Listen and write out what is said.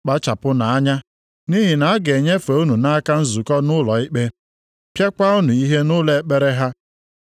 Kpachapụnụ anya. Nʼihi na a ga-enyefe unu nʼaka nzukọ ndị ụlọ ikpe, pịaakwa unu ihe nʼụlọ ekpere ha.